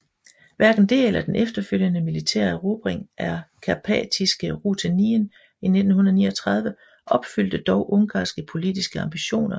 Hverken det eller den efterfølgende militære erobring af Karpatiske Rutenien i 1939 opfyldte dog ungarske politiske ambitioner